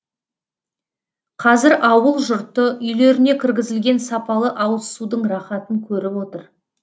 қазір ауыл жұрты үйлеріне кіргізілген сапалы ауызсудың рахатын көріп отыр